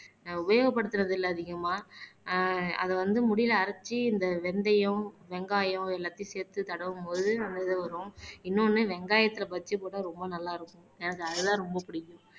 உபயோகப்படுத்துறது இல்ல அதிகமா ஆஹ் அத வந்து முடியில அரைச்சு இந்த வெந்தயம் வெங்காயம் எல்லாத்தையும் சேர்த்து தடவும் போது அந்த இது வரும் இன்னொன்னு வெங்காயத்துல பஜ்ஜி போட்டா ரொம்ப நல்லா இருக்கும் எனக்கு அதெல்லாம் ரொம்ப பிடிக்கும்